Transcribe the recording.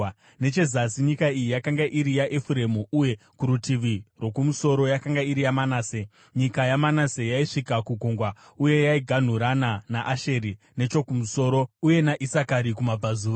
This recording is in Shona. Nechezasi nyika iyi yakanga iri yaEfuremu uye kurutivi rwokumusoro yakanga iri yaManase. Nyika yaManase yaisvika kugungwa uye yaiganhurana naAsheri nechokumusoro uye naIsakari kumabvazuva.